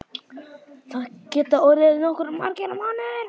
Það gætu orðið nokkuð margir mánuðir.